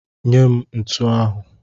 Nye m ntu ahụ!